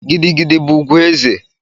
Gidi gidi bụ ugwu eze.